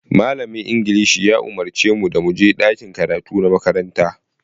Malamin Ingilishi ya umarce mu da mu je ɗakin karatu na makaranta.